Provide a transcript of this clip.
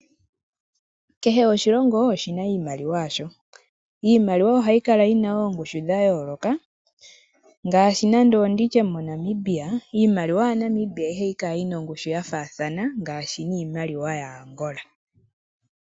Kehe oshilongo oshina iimaliwa yasho. Iimaliwa oha yi kala yi na oongushu dha yooloka, ngaashi nande onditye monamibia, iimaliwa ya Namibia iha yi kala yina ongushu ya faathana niimaliwa ya Angola.